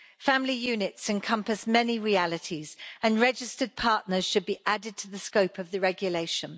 Family units encompass many realities and registered partners should be added to the scope of the regulation.